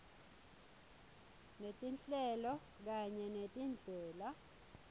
netinhlelo kanye netindlela